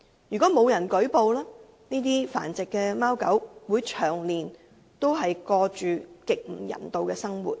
如果沒有人舉報，這些繁殖的貓狗只會長年過着極不人道的生活。